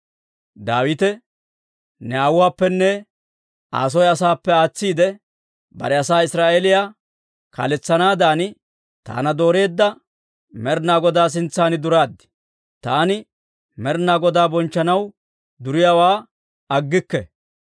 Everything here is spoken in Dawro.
Daawite, «Ne aawuwaappenne Aa soo asaappe aatsiide, bare asaa Israa'eeliyaa kaaletsanaadan taana dooreedda Med'inaa Godaa sintsan duraad. Taani Med'inaa Godaa bonchchanaw duriyaawaa aggikke.